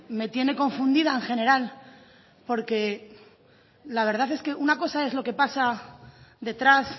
me tiene confundida en general porque la verdad es que una cosa es lo que pasa detrás